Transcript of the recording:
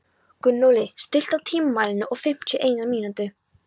Gunnóli, stilltu tímamælinn á fimmtíu og eina mínútur.